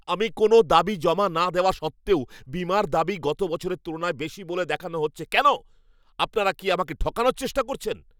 আমি কোনও দাবি জমা না দেওয়া সত্ত্বেও বীমার দাবি গত বছরের তুলনায় বেশি বলে দেখানো হচ্ছে কেন? আপনারা কি আমাকে ঠকানোর চেষ্টা করছেন?